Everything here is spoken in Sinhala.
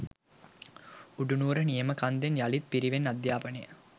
උඩුනුවර නියම කන්දෙන් යළිත් පිරිවෙන් අධ්‍යාපනය